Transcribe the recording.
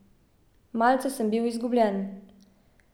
Malce sem bil izgubljen.